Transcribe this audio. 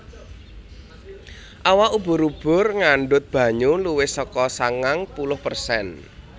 Awak ubur ubur ngandhut banyu luwih saka sangang puluh persen